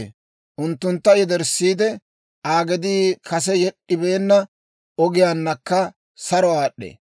I unttuntta yederssiide, Aa gedii kase yed'd'ibeenna ogiyaanakka saro aad'd'ee.